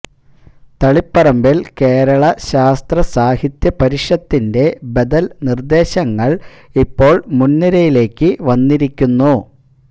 തളിപ്പറമ്പില് കേരള ശാസ്ത്രസാഹിത്യ പരിഷത്തിന്റെ ബദല് നിര്ദ്ദേശങ്ങള് ഇപ്പോള് മുന് നിരയിലേക്ക് വന്നിരിക്കുന്നു